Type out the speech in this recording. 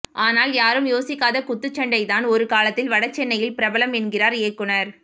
ஆனால் யாரும் யோசிக்காத குத்துச்சண்டை தான் ஒருகாலத்தில் வடசென்னையில் பிரபலம் என்கிறார் இயக்குனர்